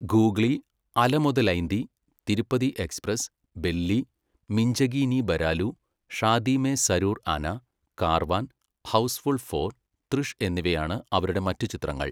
Googly, Ala Modalaindi, Tirupati Express, Belli, Minchagi Nee Baralu, Shaadi Mein Zaroor Aana, Karwaan, Housefull four, തൃഷ് എന്നിവയാണ് അവരുടെ മറ്റ് ചിത്രങ്ങൾ.